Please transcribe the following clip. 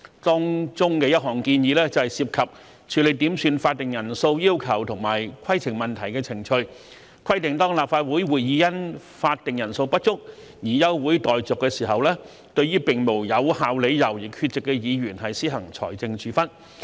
當中的一項建議涉及處理點算法定人數要求及規程問題的程序，規定當立法會會議因法定人數不足而休會待續時，對並無有效理由而缺席的議員施行財政處分。